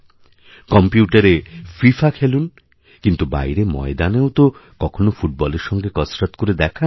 কম্প্যুটারে FIFA খেলুন কিন্তু বাইরেময়দানেও তো কখনও ফুটবলের সঙ্গে কসরৎ করে দেখান